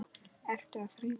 Ertu að þrífa?